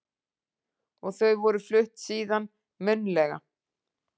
Og þau voru flutt síðan munnlega